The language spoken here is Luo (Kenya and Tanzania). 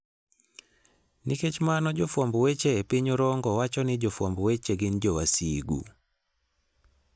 Nikech mano, jofwamb weche e piny Orongo wacho ni jofwamb weche gin 'jowasigu.'